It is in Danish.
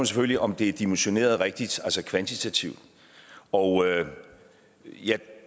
selvfølgelig om det er dimensioneret rigtigt altså kvantitativt og jeg